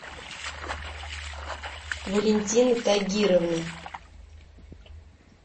валентина тагировна